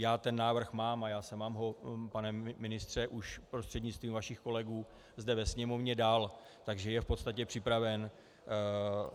Já ten návrh mám a já jsem vám ho, pane ministře, už prostřednictvím vašich kolegů zde ve Sněmovně dal, takže je v podstatě připraven.